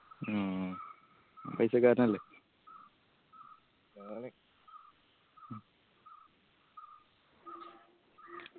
മ്മ് paisa ക്കാരനല്ലേ